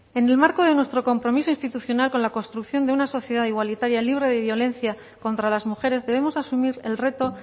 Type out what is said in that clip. en el marco de nuestro compromiso institucional con la construcción de una sociedad igualitaria libre de violencia contra las mujeres debemos asumir el reto